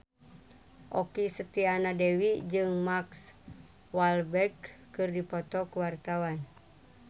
Okky Setiana Dewi jeung Mark Walberg keur dipoto ku wartawan